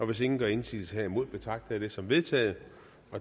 hvis ingen gør indsigelse herimod betragter jeg det som vedtaget